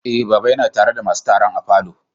Eh, baba ya na tare da masun taron a falo.